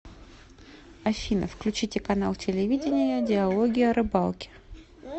афина включите канал телевидения диалоги о рыбалке